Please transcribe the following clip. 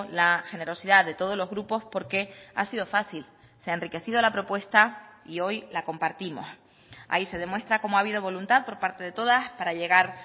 la generosidad de todos los grupos porque ha sido fácil se ha enriquecido la propuesta y hoy la compartimos ahí se demuestra cómo ha habido voluntad por parte de todas para llegar